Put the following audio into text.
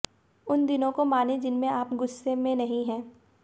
उन दिनों को मानें जिनमें आप गुस्से में नहीं हैं